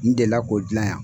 N delila k'o dilan yan.